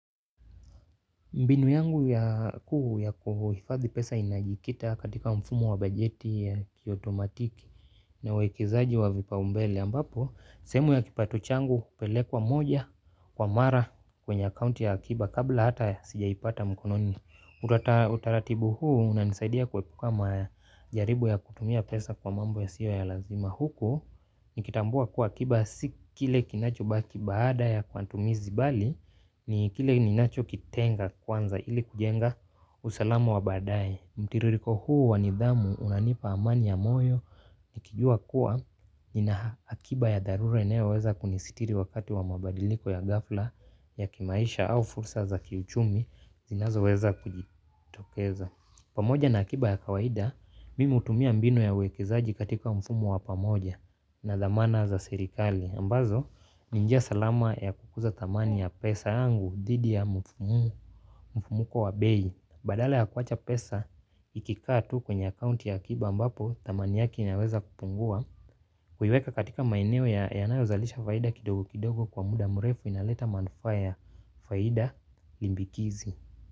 Mbinu yangu ya kuu ya kuhifadhi pesa inajikita katika mfumo wa bajeti ya kiotomatiki na uwekezaji wa vipaumbele ambapo sehemu ya kipato changu upelekwa moja kwa mara kwenye account ya akiba kabla hata sijaipata mkononi. Utaratibu huu unanisaidia kuepuka majaribu ya kutumia pesa kwa mambo yasiyo ya lazima huku nikitambua kuwa akiba si kile kinachobaki baada ya matumizi bali ni kile ninachokitenga kwanza ili kujenga usalamu wa badae. Mtiririko huu wa nidhamu unanipa amani ya moyo. Nikijua kuwa nina akiba ya dharura inayoweza kunisitiri wakati wa mabadiliko ya gafla ya kimaisha au fursa za kiuchumi zinazoweza kujitokeza. Pamoja na akiba ya kawaida mimi hutumia mbinu ya uwekezaji katika mfumo wa pamoja na dhamana za serikali ambazo ni njia salama ya kukuza thamani ya pesa yangu dhidi ya mfumuko wa bei. Badala ya kuwacha pesa ikikaa tu kwenye akaunti ya akiba ambapo thamani yake inaweza kupungua. Kuiweka katika maeneo yanayozalisha faida kidogo kidogo kwa muda murefu inaleta manufaa ya faida limbikizi.